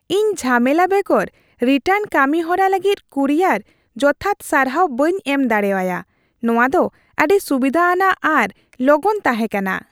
ᱤᱧ ᱡᱷᱟᱢᱮᱞᱟ ᱵᱮᱜᱚᱨ ᱨᱤᱴᱟᱨᱱ ᱠᱟᱹᱢᱤ ᱦᱚᱨᱟ ᱞᱟᱹᱜᱤᱫ ᱠᱩᱨᱤᱭᱟᱨ ᱡᱚᱛᱷᱟᱛ ᱥᱟᱨᱦᱟᱣ ᱵᱟᱹᱧ ᱮᱢ ᱫᱟᱲᱮ ᱟᱭᱟ ; ᱱᱚᱶᱟ ᱫᱚ ᱟᱹᱰᱤ ᱥᱩᱵᱤᱫᱷᱟ ᱟᱱᱟᱜ ᱟᱨ ᱞᱚᱜᱚᱱ ᱛᱟᱦᱮᱸᱠᱟᱱᱟ ᱾